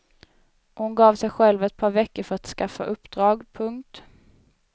Hon gav sig själv ett par veckor för att skaffa uppdrag. punkt